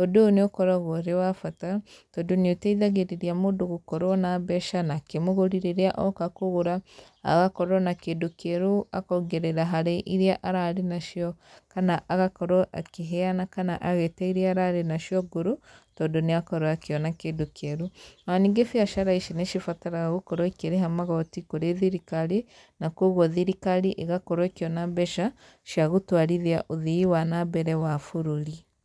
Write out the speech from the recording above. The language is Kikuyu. Ũndũ ũyũ nĩ ũkoragwo arĩ wa bata, tondũ nĩ ũteithagĩrĩria mũndũ gũkorwo na mbeca nake mũgũri rĩrĩa oka kũgũra, agakorwo na kĩndũ kĩerũ akongerera harĩ irĩa ararĩ nacio. Kana agakorwo akĩheana kana agĩte irĩa ararĩ nacio ngũrũ, tondũ nĩ akorwo akĩona kĩndũ kĩerũ. Ona ningĩ biacara ici nĩ cibataraga gũkorwo ĩkĩrĩha magoti kũrĩ thirikari, na kũguo thirikari ĩgakorwo ĩkĩona mbeca, cia gũtwarithia ũthii wa na mbere wa bũrũri.